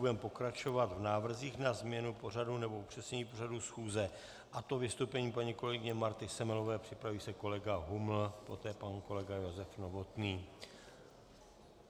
Budeme pokračovat v návrzích na změnu pořadu nebo upřesnění pořadu schůze, a to vystoupením paní kolegyně Marty Semelové, připraví se kolega Huml, poté pan kolega Josef Novotný.